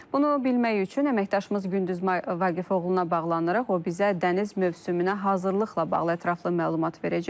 Bunu bilmək üçün əməkdaşımız Gündüz Vaqifoğluna bağlanaraq, o bizə dəniz mövsümünə hazırlıqla bağlı ətraflı məlumat verəcək.